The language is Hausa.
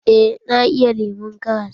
Eh na iya lemon karas.